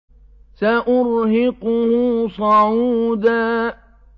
سَأُرْهِقُهُ صَعُودًا